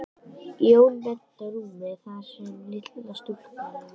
Jón og benti á rúmið þar sem litla stúlkan lá.